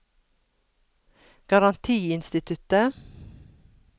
garantiinstituttet